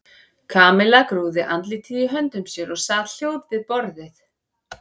Kamilla grúfði andlitið í höndum sér og sat hljóð við borðið.